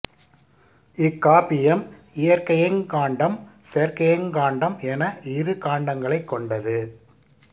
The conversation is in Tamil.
இக்காப்பியம் இயற்கையங் காண்டம் செயற்கையங் காண்டம் என இரு காண்டங்களைக் கொண்டது